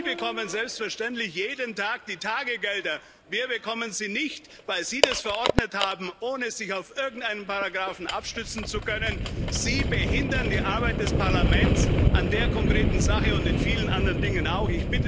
Sie bekommen selbstverständlich jeden Tag die Tagegelder. Wir bekommen sie nicht, weil Sie das verordnet haben, ohne sich auf irgendeinen Paragrafen stützen zu können. Sie behindern die Arbeit des Parlaments an der konkreten Sache und in vielen anderen Dingen auch.